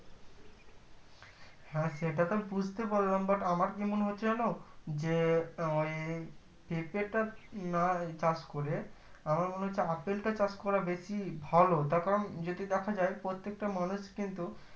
হ্যাঁ সেটা তো বুজতে পারলাম but আমার কি মনে হচ্ছে জানো যে আমারি পেঁপেটা না চাষ করে আমার মনে হচ্ছে আপেল টা চাষ করা বেশি ভালো তার কারণ যদি দেখা যাই প্রত্যেকটা মানুষ কিন্তু